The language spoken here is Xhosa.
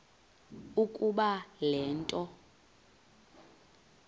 ukuba le nto